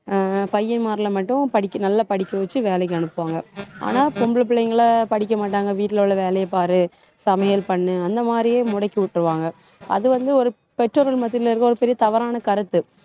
அஹ் பையன்மார்ல மட்டும் நல்லா படிக்க வச்சு, வேலைக்கு அனுப்புவாங்க ஆனா பொம்பளை புள்ளைங்களை படிக்க மாட்டாங்க. வீட்டுல உள்ள வேலையை பாரு. சமையல் பண்ணு. அந்த மாதிரியே முடக்கி விட்டுருவாங்க. அது வந்து ஒரு பெற்றோர்கள் மத்தியில இருக்கிற ஒரு பெரிய தவறான கருத்து